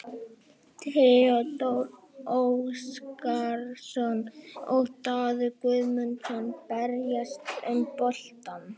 Theodór Óskarsson og Daði Guðmundsson berjast um boltann.